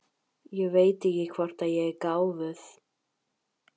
Ég veit ekki hvort ég er gáfuð.